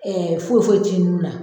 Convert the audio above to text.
foyi foyi tɛ i nun na.